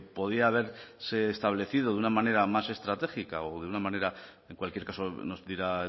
podía haberse establecido de una manera más estratégica o de una manera en cualquier caso nos dirá